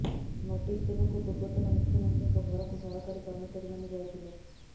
notice ଦେବାକୁ ପୂର୍ବତନ ମୁଖ୍ୟମନ୍ତ୍ରୀଙ୍କ ଘରକୁ ସରକାରୀ କର୍ମଚାରୀମାନେ ଯାଇଥିଲେ